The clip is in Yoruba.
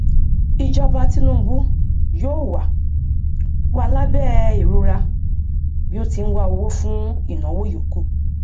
ìjọba tinúbú yóò wà wà lábẹ ìrora bí ó ti ń wá owó fún ìnáwó ìyókù